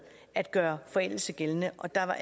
at gøre forældelse gældende og der